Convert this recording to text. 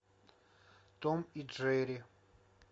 том и джерри